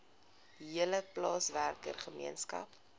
hele plaaswerker gemeenskap